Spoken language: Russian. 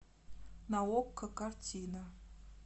на окко картина